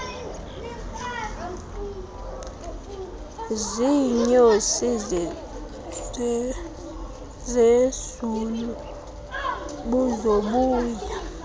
ziinyosi zezulu buzobuya